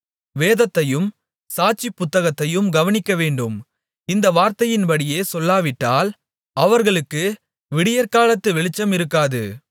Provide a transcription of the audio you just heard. வேதத்தையும் சாட்சி புத்தகத்தையும் கவனிக்கவேண்டும் இந்த வார்த்தையின்படியே சொல்லாவிட்டால் அவர்களுக்கு விடியற்காலத்து வெளிச்சமிருக்காது